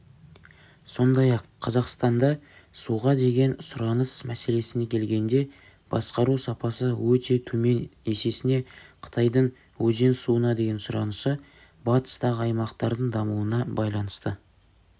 сондай-ақ қазақстанда суға деген сұраныс мәселесіне келгенде басқару сапасы өте төмен есесіне қытайдың өзен суына деген сұранысы батыстағы аймақтардың дамуына байланысты